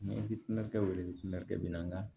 Ne hinɛ kɛ o yɛrɛ de tun ka kɛ bi n kan